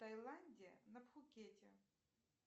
тайланде на пхукете